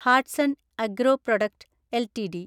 Hatsun agro product LTD